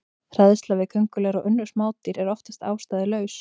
Hræðsla við köngulær og önnur smádýr er oftast ástæðulaus.